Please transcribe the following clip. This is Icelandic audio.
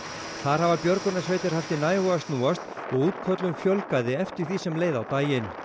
þar hafa björgunarsveitir haft í nægu að snúast og útköllum fjölgaði eftir því sem leið á daginn